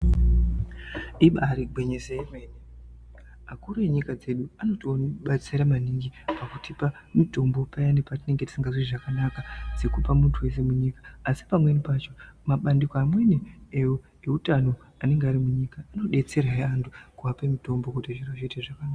Ibari gwinyiso yemene. Akuru enyika dzedu anotibatsira maningi ngekutipa mitombo payani patinenge tisingazwi zvakanaka dzekupa muntu wese munyika asi pamweni pacho mabandiko amweni eutano anenge ari munyika anodetserahe antu kuape mitombo kuti zviro zviite zvakanaka.